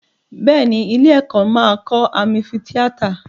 Bẹ́ẹ̀ ni, ilé-ẹ̀kọ́ máa kọ́ ámífìtíátà.